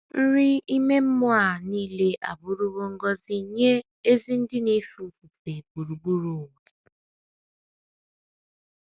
Nri ime mmụọ a nile abụrụwo ngọzi nye ezi ndị na - efe ofufe gburugburu ụwa.